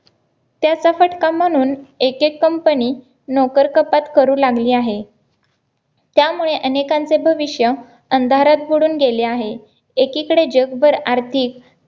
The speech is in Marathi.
त्या सकट काम म्हणून एकेक company नोकर कपात करू लागली आहे त्यामुळे अनेकांचे भविष्य अंधारात बुडून गेले आहे एकीकडे जगभर आर्थिक